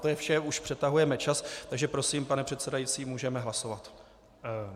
To je vše, už přetahujeme čas, takže prosím, pane předsedající, můžeme hlasovat.